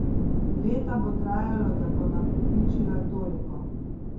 Leta bo trajalo, da bo nakopičila toliko.